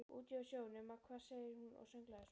Úti á sjó, nema hvað sagði hún og sönglaði svo